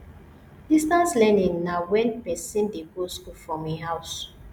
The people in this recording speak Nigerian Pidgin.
distance learning na when person dey go school from im house